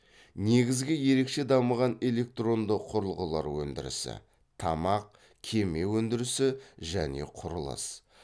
негізгі ерекше дамыған электронды құрылғылар өндірісі тамақ кеме өндірісі және құрылыс